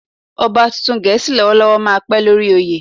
Ọba tuntun Gẹ̀ẹ́sì lọ́wọ́lọ́wọ́ máa pẹ́ lórí oyè.